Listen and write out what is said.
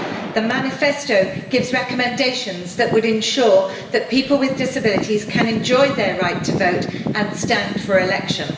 The manifesto gives recommendations that would ensure that people with disabilities can enjoy their right to vote and stand for election.